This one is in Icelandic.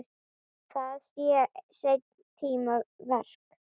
Það sé seinni tíma verk.